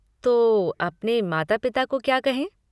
तो, अपने माता पिता को क्या कहें?